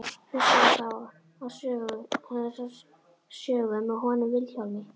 Hlustaðu þá á þessa sögu með honum Vilhjálmi.